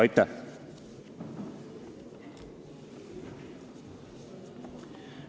Aitäh!